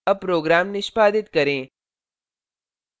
अब program निष्पादित करें